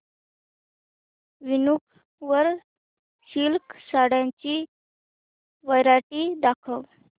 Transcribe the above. वूनिक वर सिल्क साड्यांची वरायटी दाखव